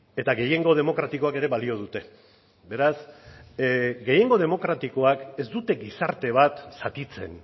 eta gehiengo demokratikoak ere balio dute beraz gehiengo demokratikoak ez dute gizarte bat zatitzen